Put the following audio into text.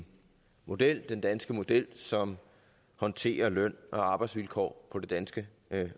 model den danske model som håndterer løn og arbejdsvilkår på det danske